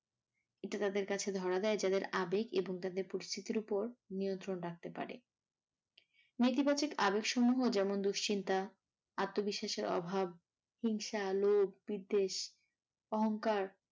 এটা তাদের কাছে ধরা দেয় যাদের আবেগ এবং তাদের পরিচিতির ওপর নিয়ন্ত্রণ রাখতে পারে। নেতিবাচক আবেগসমূহ যেমন দুশ্চিন্তা, আত্মবিশ্বাসের অভাব, হিংসা, লোভ, বিদ্বেষ, অহংকার ।